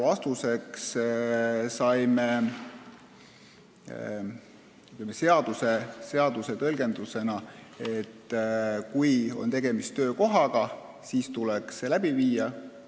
Vastuseks saime seaduse tõlgendusena, et kui on tegemist töökohaga, siis tuleks mõõtmine läbi viia.